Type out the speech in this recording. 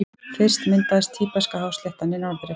Fyrst myndaðist Tíbeska-hásléttan í norðri.